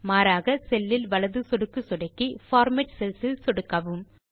மாறாக செல் இல் வலது சொடுக்கு சொடுக்கி பார்மேட் செல்ஸ் இல் சொடுக்கவும்